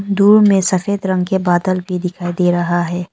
दूर में सफेद रंग के बादल भी दिखाई दे रहा है।